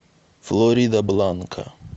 флоридабланка